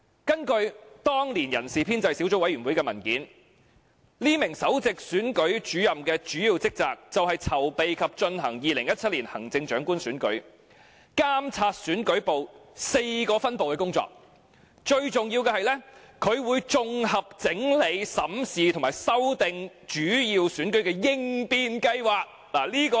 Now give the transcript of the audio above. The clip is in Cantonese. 根據當年人事編制小組委員會的文件，該名首席選舉事務主任的主要職責是籌備及進行2017年行政長官選舉，監察選舉部4個分部的工作，最重要是負責綜合整理、審視及修訂主要選舉的應變計劃。